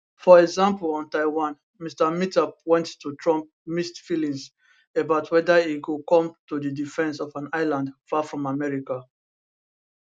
for example on taiwan mr mitter point to trump mixed feelings about weda e go come to di defence of an island far from america